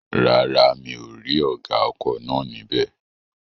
Rárá, mi ò rí ọ̀gá ọkọ̀ náà ní bẹ̀